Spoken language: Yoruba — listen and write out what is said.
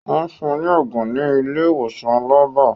Wọ́n fun ní ògùn ní ilé ìwòsàn labba